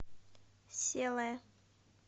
селая